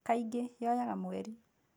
Kaingĩ, Yoyaga mweri.